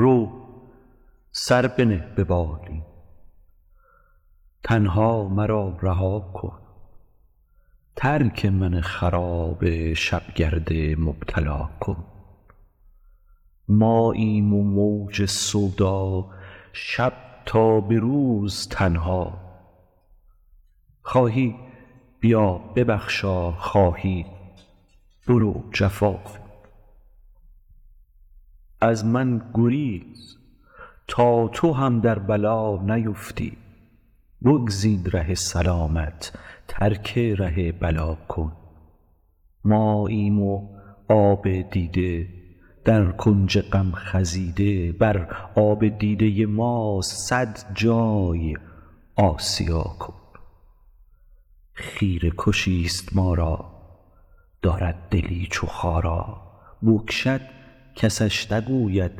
رو سر بنه به بالین تنها مرا رها کن ترک من خراب شب گرد مبتلا کن ماییم و موج سودا شب تا به روز تنها خواهی بیا ببخشا خواهی برو جفا کن از من گریز تا تو هم در بلا نیفتی بگزین ره سلامت ترک ره بلا کن ماییم و آب دیده در کنج غم خزیده بر آب دیده ما صد جای آسیا کن خیره کشی ست ما را دارد دلی چو خارا بکشد کسش نگوید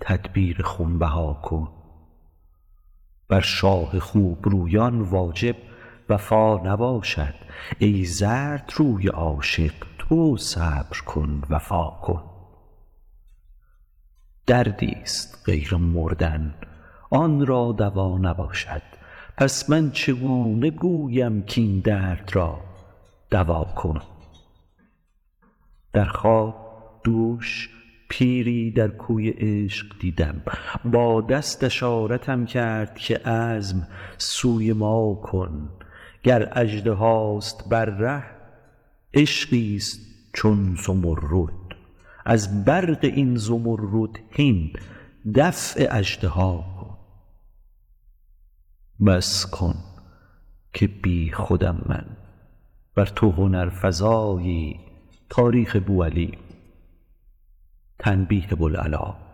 تدبیر خون بها کن بر شاه خوب رویان واجب وفا نباشد ای زردروی عاشق تو صبر کن وفا کن دردی ست غیر مردن آن را دوا نباشد پس من چگونه گویم کاین درد را دوا کن در خواب دوش پیری در کوی عشق دیدم با دست اشارتم کرد که عزم سوی ما کن گر اژدهاست بر ره عشقی ست چون زمرد از برق این زمرد هین دفع اژدها کن بس کن که بی خودم من ور تو هنرفزایی تاریخ بوعلی گو تنبیه بوالعلا کن